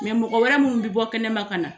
Mɛ mɔgɔ wɛrɛ minnu bɛ bɔ kɛnɛma ka na